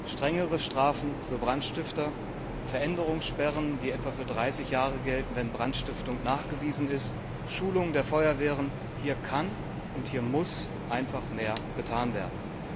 Strengere Strafen für Brandstifter, Veränderungssperren, die etwa für 30 Jahre gelten, wenn Brandstiftung nachgewiesen ist, Schulung der Feuerwehren hier kann und hier muss einfach mehr getan werden.